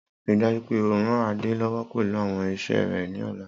Rii daju pe o ran Ade lọwọ pẹlu awọn iṣẹ rẹ ni ọla!